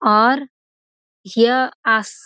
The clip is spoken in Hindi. और य आस --